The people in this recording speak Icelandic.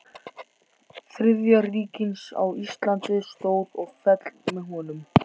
Þriðja ríkisins á Íslandi stóð og féll með honum.